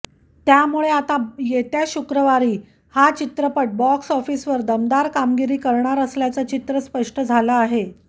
त्यामुळे आता येत्या शुक्रवारी हा चित्रपट बॉक्सऑफिसवर दमदार कामगिरी करणार असल्याचं चित्र स्पष्ट झालं आहे